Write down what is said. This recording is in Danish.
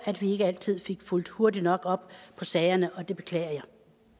at vi ikke altid fik fulgt hurtigt nok op på sagerne og det beklager